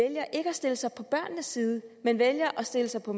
stille sig på børnenes side men vælger at stille sig på